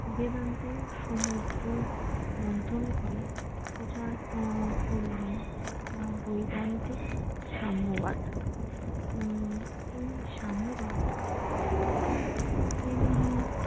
বেদান্তে সমুদ্র মন্থন করে প্রচার করলেন বৈবাহিক সাম্যবাদ উম এই সাম্যবাদ তিনিই